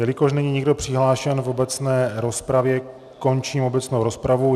Jelikož není nikdo přihlášen v obecné rozpravě, končím obecnou rozpravu.